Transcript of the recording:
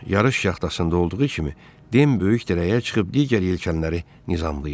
Yarış yaxtasında olduğu kimi, Den böyük dirəyə çıxıb digər yelkanları nizamlayırdı.